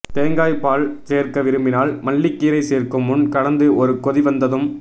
தேங்காய்ப்பால் சேர்க்க விரும்பினால் மல்லிக்கீரை சேர்க்கும் முன் கலந்து ஒரு கொதி வந்ததும்